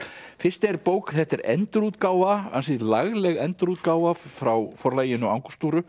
fyrst er bók þetta er endurútgáfa ansi lagleg endurútgáfa frá Forlaginu